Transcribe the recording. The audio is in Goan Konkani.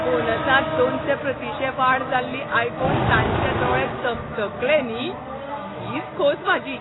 बोनसांत दोनशे प्रतिशे वाड जाल्ली आयकून तांचे दोळे चकचकले न्ही, तीच खोस म्हाजी.